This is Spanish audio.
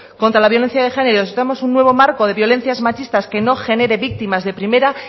contra la violencia de género necesitamos un nuevo marco de violencias machistas que no genere víctimas de primera